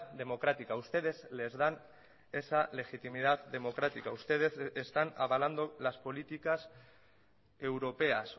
democrática ustedes les dan esa legitimidad democrática ustedes están avalando las políticas europeas